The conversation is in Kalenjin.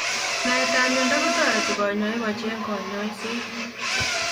Naetab miondoo kotaritii kanyaik ko cheng kanyaiset